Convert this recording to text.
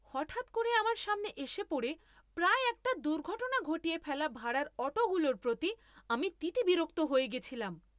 হঠাৎ করে আমার সামনে এসে পড়ে প্রায় একটা দুর্ঘটনা ঘটিয়ে ফেলা ভাড়ার অটোগুলোর প্রতি আমি তিতবিরক্ত হয়ে গেছিলাম।